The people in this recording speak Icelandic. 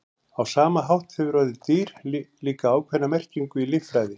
Á sama hátt hefur orðið dýr líka ákveðna merkingu í líffræði.